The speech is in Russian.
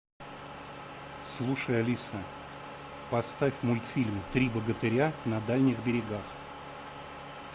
слушай алиса поставь мультфильм три богатыря на дальних берегах